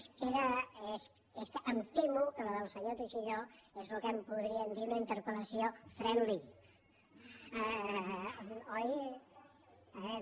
és que em temo que la del senyor teixidó és el que en podríem dir una interpel·lació friendly oi riu